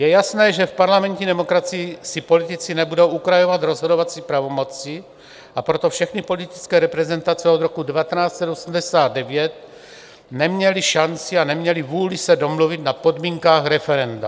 Je jasné, že v parlamentní demokracii si politici nebudou ukrajovat rozhodovací pravomoci, a proto všechny politické reprezentace od roku 1989 neměly šanci a neměly vůli se domluvit na podmínkách referenda.